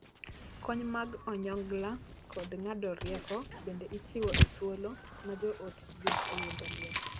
Kony mag onyongla kod ng'ado rieko bende ichiwo e thuolo ma joot oyudo liel.